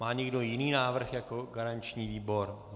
Má někdo jiný návrh jako garanční výbor?